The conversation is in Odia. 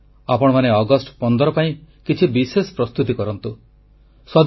ମୁଁ ଚାହେଁ ଆପଣମାନେ ଅଗଷ୍ଟ 15 ପାଇଁ କିଛି ବିଶେଷ ପ୍ରସ୍ତୁତି କରନ୍ତୁ